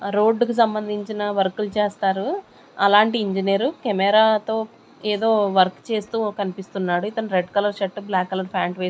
రోడ్డుకు సంబంధించిన వర్కులు చేస్తారు అలాంటి ఇంజనీరు కెమెరాతో ఏదో వర్క్ చేస్తూ కనిపిస్తున్నాడు ఇతను red colour shirt black colour pant వే--